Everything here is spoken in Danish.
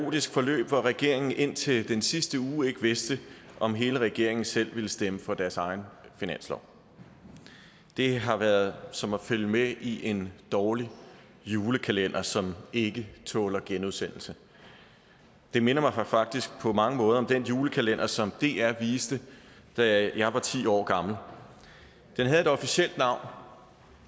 kaotisk forløb hvor regeringen indtil den sidste uge ikke vidste om hele regeringen selv ville stemme for deres egen finanslov det har været som at følge med i en dårlig julekalender som ikke tåler genudsendelse det minder mig faktisk på mange måder om den julekalender som dr viste da jeg var ti år gammel den havde et officielt navn